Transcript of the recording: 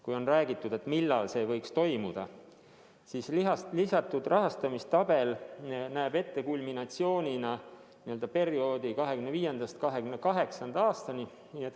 Kui on räägitud, et millal see võiks toimuda, siis lisatud rahastamistabel näeb kulminatsioonina ette perioodi 2025.–2028. aastani.